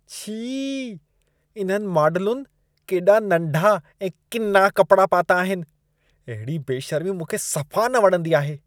छी! इन्हनि मॉडलुनि केॾा नंढा ऐं किना कपड़ा पाता आहिनि। अहिड़ी बेशर्मी मूंखे सफ़ा न वणंदी आहे।